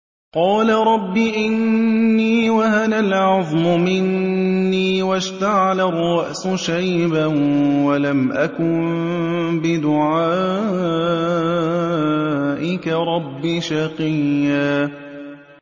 قَالَ رَبِّ إِنِّي وَهَنَ الْعَظْمُ مِنِّي وَاشْتَعَلَ الرَّأْسُ شَيْبًا وَلَمْ أَكُن بِدُعَائِكَ رَبِّ شَقِيًّا